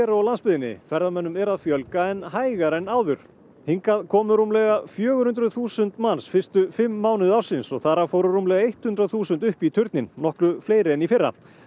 og á landsbyggðinni ferðamönnum er að fjölga en hægar en áður hingað komu rúmlega fjögur hundruð þúsund manns fyrstu fimm mánuði ársins þar af fóru rúmlega eitt hundrað þúsund upp í turninn nokkru fleiri en í fyrra